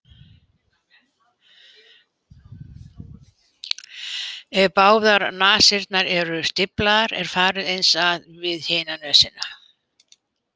Ef báðar nasirnar eru stíflaðar er farið eins að við hina nösina.